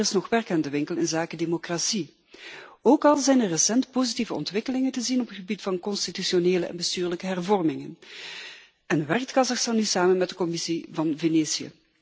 Er is echter nog werk aan de winkel inzake democratie, ook al zijn er recent positieve ontwikkelingen te zien op het gebied van constitutionele en bestuurlijke hervormingen en werkt Kazachstan nu samen met de Commissie van Venetië.